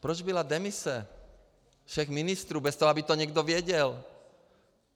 Proč byla demise všech ministrů bez toho, aby to někdo věděl?